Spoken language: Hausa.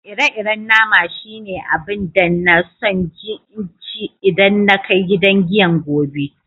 Ire-iren nama shine abun da n'na so n je n'ci idan na kai gidan giyan gobe.